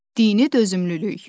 Dini dözümlülük.